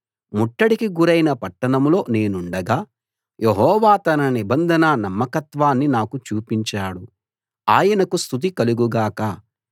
ముట్టడికి గురైన పట్టణంలో నేనుండగా యెహోవా తన నిబంధన నమ్మకత్వాన్ని నాకు చూపించాడు ఆయనకు స్తుతి కలుగు గాక